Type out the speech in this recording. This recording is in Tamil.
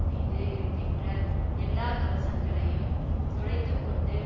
மீது இருக்கின்ற எல்லா கவசங்களையும் துளைத்துக்கொண்டு